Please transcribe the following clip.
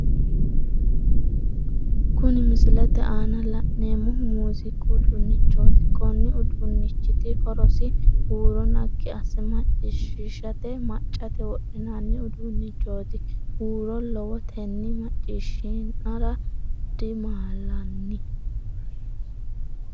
Kunni misilete aanna la'neemohu muuziiqu uduunnichooti konni uduunichiti horosino huuro nagi ase maciishiishate macate wodhinnanni uduunichooti huuro lowotenni maciishinara damaalanni.